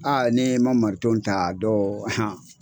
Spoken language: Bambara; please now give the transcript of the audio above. ni e ma mariton ta a dɔw